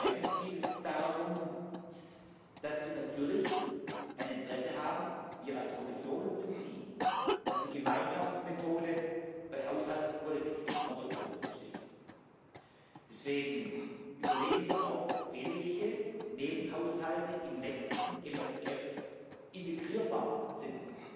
Zweitens geht es darum, dass wir natürlich ein Interesse haben wir als Kommission und Sie dass die Gemeinschaftsmethode bei der Haushaltspolitik im Vordergrund steht. Deswegen überlegen wir auch, welche Nebenhaushalte im nächsten MFF integrierbar sind.